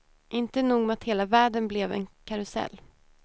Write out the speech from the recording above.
Inte nog med att hela världen blev en karusell.